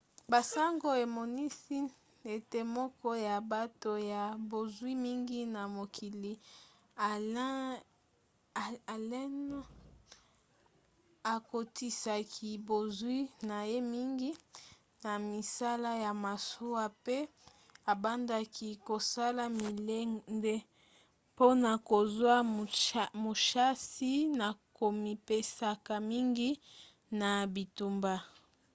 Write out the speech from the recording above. basango emonisi ete moko ya bato ya bozwi mingi na mokili allen akotisaki bozwi na ye mingi na misala ya masuwa pe abandaki kosala milende mpona kozwa mushasi na komipesaka mingi na bitumba